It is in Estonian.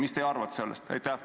Mida teie arvate sellest?